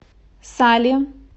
сале